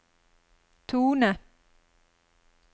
tone